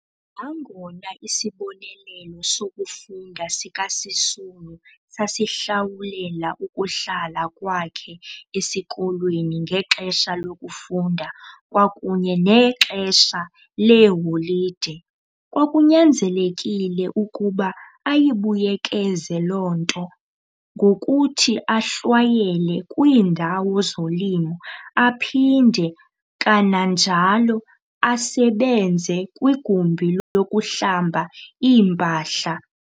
Nangona isibonelelo sokufunda sikaSisulu sasihlawulela ukuhlala kwakhe esikolweni ngexesha lokufunda kwakunye nexesha lee holide, kwakunyanzelekile ukuba ayibuyekeze loo nto ngokuthi ahlwayele kwiindawo zolimo, aphinde kananjalo asebenze kwigumbi lokuhlamba iimpahla.